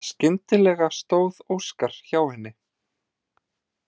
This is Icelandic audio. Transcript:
Skyndilega stóð Óskar hjá henni.